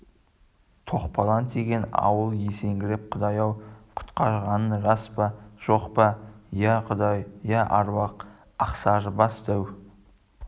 топалаң тиген ауыл есеңгіреп құдай-ау құтқарғаның рас па жоқ па иә құдай иә аруақ ақсарыбас дәу